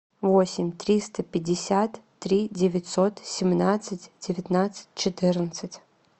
восемь триста пятьдесят три девятьсот семнадцать девятнадцать четырнадцать